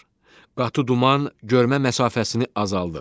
Qatı duman görmə məsafəsini azaldır.